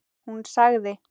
Hún sagði